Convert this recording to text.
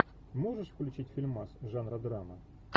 можешь включить фильмас жанра драма